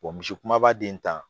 misi kumaba den ta